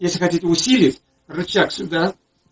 если хотите усилить рычаг сюда